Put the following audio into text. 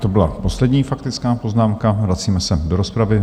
To byla poslední faktická poznámka, vracíme se do rozpravy.